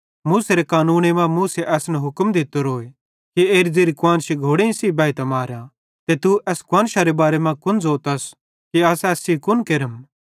मूसेरे कानूने मां मूसा असन हुक्म दित्तोरोए कि एरी ज़ेरी कुआन्शी घोड़ेईं बैइतां मारा ते तू एस कुआन्शरे बारे मां कुन ज़ोतस कि अस एस कुन केरम